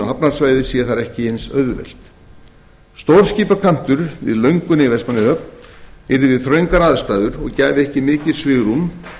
hafnarsvæðið sé þar ekki eins auðvelt stórskipakantur við lönguna í vestmannaeyjahöfn yrði við þröngar aðstæður og gæfi ekki mikið svigrúm